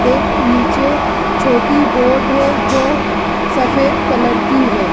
एक निचे छोटी बोट है जो सफेद कलर की है |